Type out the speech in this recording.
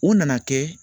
O nana kɛ